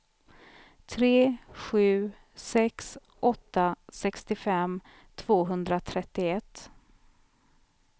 tre sju sex åtta sextiofem tvåhundratrettioett